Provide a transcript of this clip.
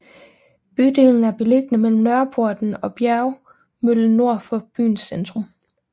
Bydelen er beliggende mellem Nørreporten og Bjergmøllen nord for byens centrum